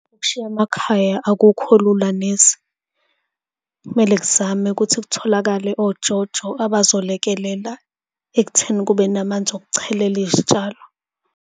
Ukushiya amakhaya akukho lula neze. Kumele kuzame ukuthi kutholakale oJoJo, abazolekelela ekutheni kube namanzi okuchelela izitshalo.